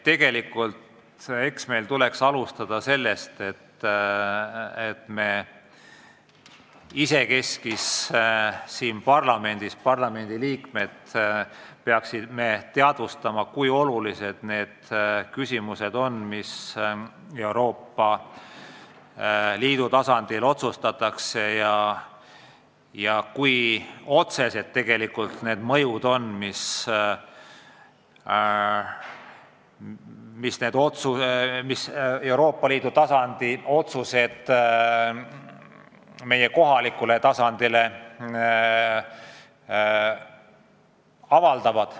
Tegelikult meil tuleks alustada sellest, et me isekeskis siin parlamendis peaksime endale teadvustama, kui olulised on küsimused, mis Euroopa Liidu tasandil otsustatakse, ja kui otsene on mõju, mida need Euroopa Liidu tasandi otsused meie elule avaldavad.